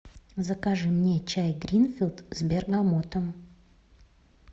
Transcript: закажи мне чай гринфилд с бергамотом